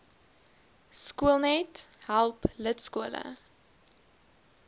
skoolnet help lidskole